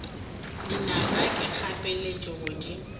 dinaka ke kgapeletšo go di